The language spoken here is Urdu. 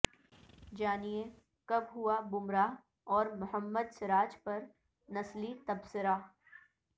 جانئے کب ہوا بمراہ اور محمد سراج پر نسلی تبصرہ